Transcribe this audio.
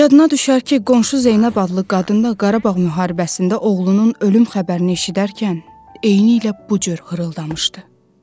Yadına düşər ki, qonşu Zeynəb adlı qadın da Qarabağ müharibəsində oğlunun ölüm xəbərini eşidərkən eynilə bu cür xırıldamışdı.